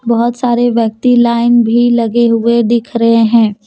बहुत सारे व्यक्ति लाइन भी लगे हुए दिख रहे हैं।